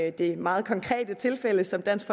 i det meget konkrete tilfælde som dansk